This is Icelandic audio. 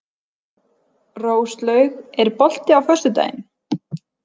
Róslaug, er bolti á föstudaginn?